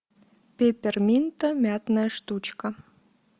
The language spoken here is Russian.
пепперминта мятная штучка